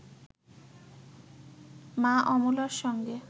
মা অমলার সঙ্গে